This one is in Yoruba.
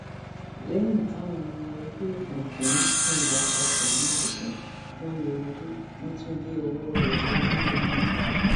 lẹyìn táwọn ọmọ ẹgbẹ òkùnkùn yìnbọn pa samád tán wọn yọ ojú wọn tún gé ọwọ ẹ lọ ńìlọrin